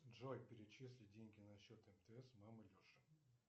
джой перечисли деньги на счет мтс мама леши